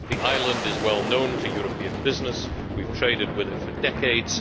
The island is well known to European business and we have traded with it for decades.